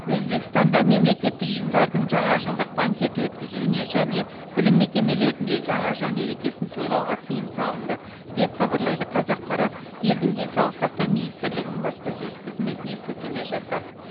өзбекстанда мемлекеттік ұйымдардың жаңажылдық банкет өткізуіне және білім мекемелерінде жаңа жыл мерекесін тойлауға тыйым салынды деп хабарлайды қазақпарат елдің денсаулық сақтау министрлігінің баспасөз қызметіне сілтеме жасап